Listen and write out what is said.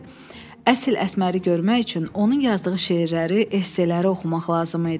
Əsl Əsməri görmək üçün onun yazdığı şeirləri, esseləri oxumaq lazım idi.